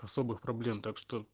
особых проблем так что